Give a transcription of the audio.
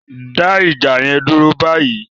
Dá ìjà yẹn dúró báyìí!